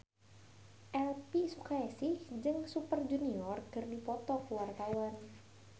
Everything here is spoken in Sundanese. Elvy Sukaesih jeung Super Junior keur dipoto ku wartawan